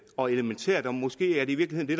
og elementært og måske er det i virkelig det